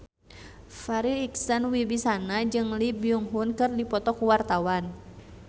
Farri Icksan Wibisana jeung Lee Byung Hun keur dipoto ku wartawan